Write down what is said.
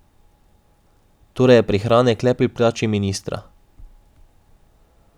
Torej je prihranek le pri plači ministra.